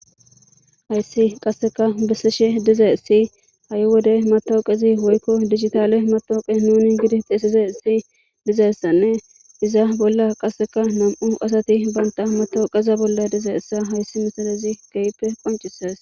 Haysi qaseka besishe dizaysi ha'i wode matoqezi woyko dijitale matoqe nuni gizi xesidaysi dizaysane iza bola qaseka nam'u asati banta matoqeza bola dizaysa haysi missilezi kehipe qonc'ses.